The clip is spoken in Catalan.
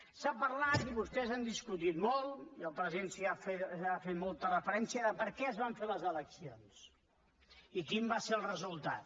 s’ha parlat i vostès ho han discutit molt i el president hi ha fet molta referència de per què es van fer les eleccions i quin va ser el resultat